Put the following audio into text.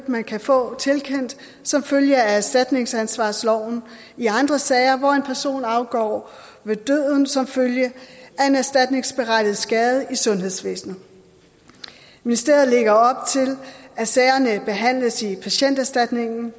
man kan få tilkendt som følge af erstatningsansvarsloven i andre sager hvor en person afgår ved døden som følge af en erstatningsberettiget skade i sundhedsvæsenet ministeriet lægger op til at sagerne behandles i patienterstatningen